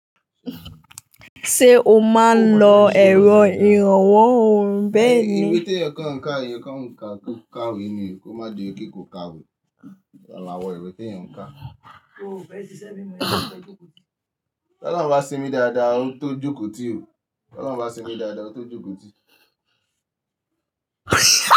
Ṣé o máa ń lo ẹ̀rọ ìrànwọ́ ọ̀hún bẹ́ẹ̀ni? Ìwé tí ẹ̀yàn kà ń ká, ẹ̀yàn kà ń ká ká òwe ni, kó má di pé kò ká òwe. Àlàwọ̀ ìwé tí ẹ̀yàn ń kà. O ò fẹ́ ṣiṣẹ́ mímọ́, ò fẹ́ jókòó tì. Tọ́lá máa sinmi dáadáa, ó ń tó jókòó tì o. Tọ́lá máa sinmi dáadáa, ó ń tó jókòó tì.